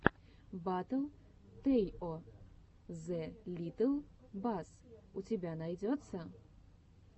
батл тэйо зе литтл бас у тебя найдется